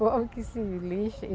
Pobre que se lixe,